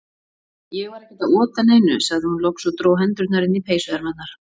Ég var ekkert að ota neinu, sagði hún loks og dró hendurnar inn í peysuermarnar.